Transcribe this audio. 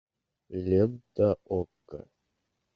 лента окко